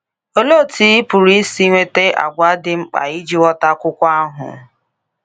Olee otú ị pụrụ isi nweta àgwà dị mkpa iji ghọta akwụkwọ ahụ?